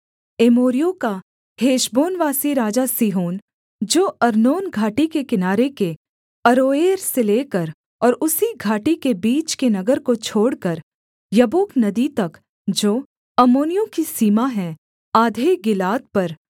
एमोरियों का हेशबोनवासी राजा सीहोन जो अर्नोन घाटी के किनारे के अरोएर से लेकर और उसी घाटी के बीच के नगर को छोड़कर यब्बोक नदी तक जो अम्मोनियों की सीमा है आधे गिलाद पर